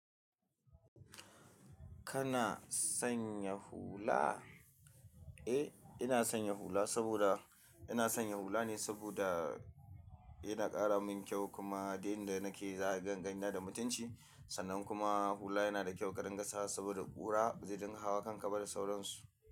Kana sanya hula? Eh, ina sanya hula saboda ina sanya hula ne saboda yana ƙara min kyau kuma duk in da nake za'a ringa gani na da mutunci. Sannan kuma hula yana da kyau ka rin gasawa saboda ƙura, bazai dinga hawa kan ka ba da sauransu.